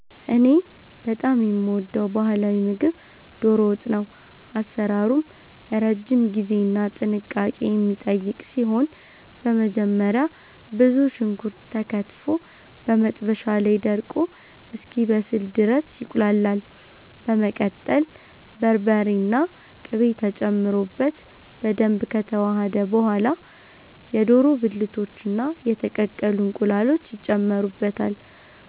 እኔ በጣም የምወደው ባህላዊ ምግብ 'ዶሮ ወጥ' ነው። አሰራሩም ረጅም ጊዜና ጥንቃቄ የሚጠይቅ ሲሆን፣ በመጀመሪያ ብዙ ሽንኩርት ተከትፎ በመጥበሻ ላይ ደርቆ እስኪበስል ድረስ ይቁላላል። በመቀጠል በርበሬና ቅቤ ተጨምሮበት በደንብ ከተዋሃደ በኋላ፣ የዶሮ ብልቶችና የተቀቀሉ እንቁላሎች ይጨመሩበታል።